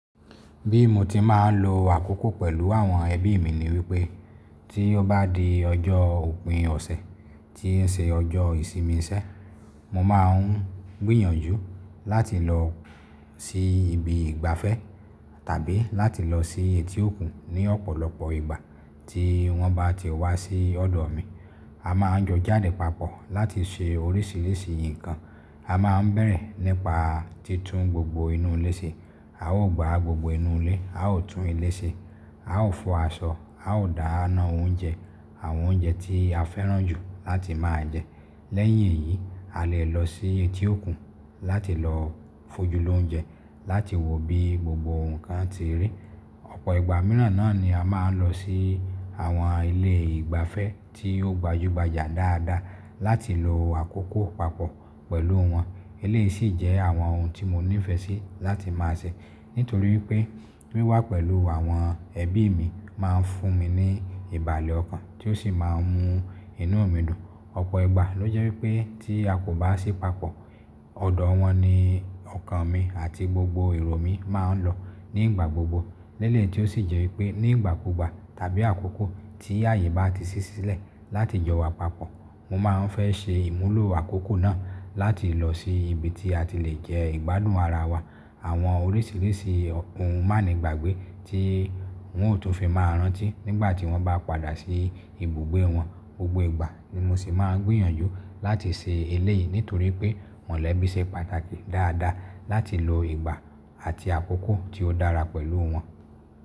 Bí mo ti máa ń lo àkókò pẹ̀lú àwọn ẹbí mi ni wípé tí ó bá di ọjọ́ òpin ọ̀sẹ̀ tí ṣe ọjọ́ ìsinmi iṣẹ́, mo máa ń gbìyànjú láti lọ sí ibi ìgbafẹ́ tàbí láti lọ sí etí òkun ní ọ̀pọ̀lọpọ̀ ìgbà tí wọ́n bá ti wá sí ọ̀dọ̀ mi. A máa jọ jáde papọ̀ láti ṣe oríṣìíríṣìí nǹkan. A máa bẹ̀rẹ̀ nípa títún gbogbo inú ilé ṣe, a ó gbá gbogbo inú ilé, a ó tún ilé ṣe, a ó fọ aṣọ, a ó dá ná oúnjẹ, àwọn oúnjẹ tí a fẹ́ràn jù láti máa jẹ. Lẹ́yìn èyí a lè lọ sí etí òkun láti lọ fojú lóúnjẹ, láti wo bí gbogbo nǹkan ti rí. Ọ̀pọ̀ ìgbà míràn náà ni a máa ń lọ sí àwọn ilé ìgbafẹ́ tí ó gbajúgbajà dáadáa láti lo àkókò papọ̀ pẹ̀lú wọn. Eléyìí sì jẹ́ àwọn ohun tí mo nífẹ̀ẹ́ sí láti máa ṣe, nítorí pé wíwà pẹ̀lú àwọn ẹbí mi máa ń fún mi ní ìbàlé ọkàn tí ó sì máa ń mú inú mi dùn. Ọ̀pọ̀ ìgbà ló jẹ́ wípé tí a kò bá ṣi papọ̀, ọ̀dọ̀ wọn ni ọkàn mi àti gbogbo èrò mi máa ń lọ nígbà gbogbo. Lẹ́ẹ̀léyìí tí ó sì jẹ́ wípé nígbà kúgbà tàbí àkókò tí ààyè bá ti ṣísílẹ̀ láti jọ wa papọ̀, mo máa ń fẹ́ ṣe ìmúlò àkókò náà láti lọ sí ibi tí a ti lè jẹ ìgbádùn ara wa, àwọn oríṣìíríṣìí ohun mani gbàgbé tí wọn ò tún fi máa rántí nígbà tí wọ́n bá padà sí ibùgbé wọn. Gbogbo ìgbà ni mo sì máa ń gbìyànjú láti ṣe eléyìí nítorí pé mọ̀lẹ́bí ṣe pàtàkì dáadáa láti lo ìgbà àti àkókò tí ó dára pẹ̀lú wọn.